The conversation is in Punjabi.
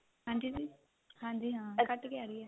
ਹਾਂਜੀ ਜੀ ਹਾਂਜੀ ਹਾਂ ਕੱਟ ਕੇ ਆ ਰਹੀ ਏ